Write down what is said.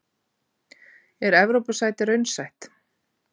Er Evrópusæti raunsætt?